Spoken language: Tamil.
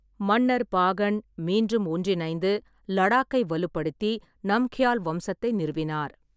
மன்னர் பாகன் மீண்டும் ஒன்றிணைந்து லடாக்கை வலுப்படுத்தி, நம்க்யால் வம்சத்தை நிறுவினார்.